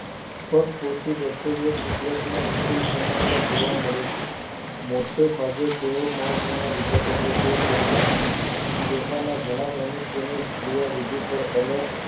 પરપોષી Bacteria કુદરતમાં વિપુલ પ્રમાણમાં જોવા મળે છે મોટા ભાગે તેઓ મહત્વના વિઘટકોના છે તેમના તેમના ઘણા મનુષ્યોનું ક્રિયા વિધિ પર અલગ